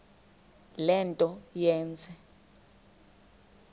le nto yenze